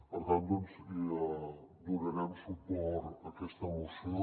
per tant doncs donarem suport a aquesta moció